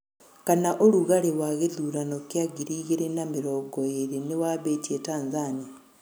kana ũrũgarĩ wa gĩthũrano kia ngĩrĩ ĩgĩrĩ na mĩrongo ĩrĩ nĩwambĩtie Tanzania